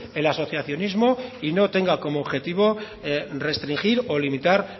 el asociacionismo y no tenga como objetivo restringir o limitar